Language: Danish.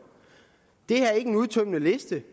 er ikke nogen udtømmende liste